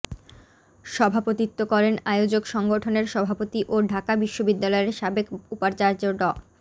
সভাপতিত্ব করেন আয়োজক সংগঠনের সভাপতি ও ঢাকা বিশ্ববিদ্যালয়ের সাবেক উপাচার্য ড